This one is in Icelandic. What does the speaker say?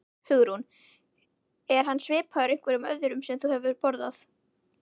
Hugrún: Er hann svipaður einhverju öðru sem þú hefur borðað?